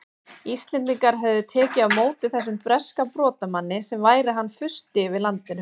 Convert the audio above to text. Íslendingar hefðu tekið á móti þessum breska brotamanni sem væri hann fursti yfir landinu!